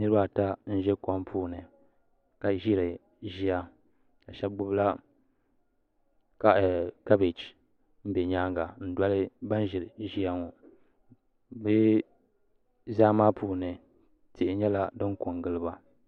Niriba ata n ʒɛ kom puuni ka ʒiri ʒiya ka sheba gbibila kabaji ka be nyaanga n doli ban ʒiri ʒiya ŋɔ bɛ zaa maa puuni tihi nyɛla fin kongili ba.